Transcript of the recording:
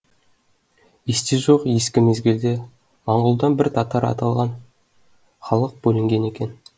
есте жоқ ескі мезгілде маңғұлдан бір татар аталған халық бөлінген екен